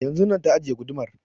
Yanzun na ta ajiye gudumar